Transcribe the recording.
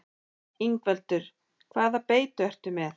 Ingveldur: Hvaða beitu ertu með?